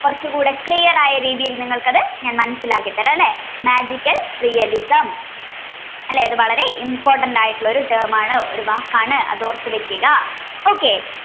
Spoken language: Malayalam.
കുറച്ചുകൂടി clear ആയ രീതിയിൽ നിങ്ങൾക്ക് അത് ഞാൻ മനസ്സിലാക്കി തരാമല്ലേ magical realism അല്ലേ അത് വളരെ important ആയിട്ടുള്ള term ആണ് വാക്ക് ആണ് ഓർത്ത് വെക്കുക അപ്പൊ